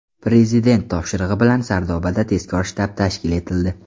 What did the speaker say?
Prezident topshirig‘i bilan Sardobada tezkor shtab tashkil etildi.